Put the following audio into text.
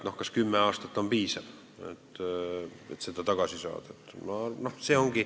Kas tõesti kümme aastat on piisav, et seda hüvitada?